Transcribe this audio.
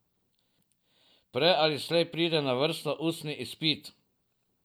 Prej ali slej pride na vrsto ustni izpit.